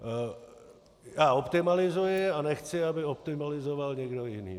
Já optimalizuji a nechci, aby optimalizoval někdo jiný.